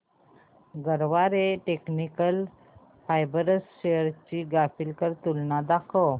Garware technical fibres shares ची graphical तुलना दाखव